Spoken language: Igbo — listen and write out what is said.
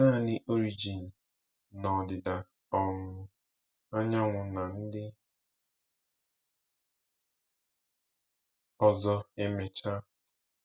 Naanị Origen na ọdịda um anyanwụ na ndị ọzọ emechaa.